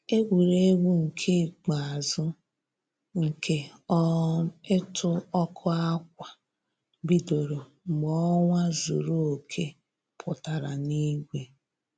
Egwuregwu nke ikpeazụ nke um ịtụ ọkụ ákwà bidoro mgbe ọnwa zuru oke pụtara n'igwe